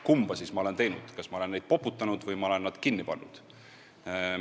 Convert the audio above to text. Kumba ma siis olen teinud – kas ma olen neid poputanud või ma olen nad kinni pannud?